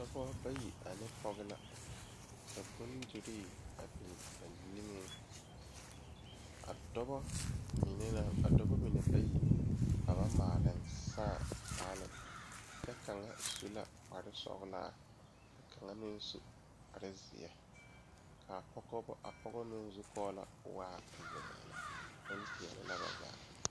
Dɔɔba bayi ane pɔge la be sori kaŋa poɔ ka teere yaga yaga a be a be ka yiri kaŋa meŋ are a ba puori kyɛ kaa bie kaŋa seɛ kuri a su kparo ko'o zage zage kyɛ koo wiɛ o nyɛmɛ a bare.